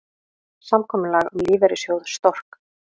Samkomulag um lífeyrissjóð Stork